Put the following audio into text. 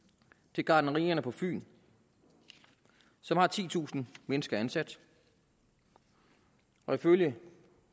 til gartnerierne på fyn som har titusind mennesker ansat og ifølge